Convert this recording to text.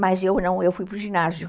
Mas eu não, eu fui para o ginásio.